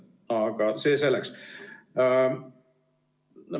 Aga see selleks.